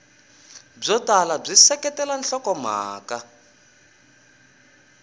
byo tala byi seketela nhlokomhaka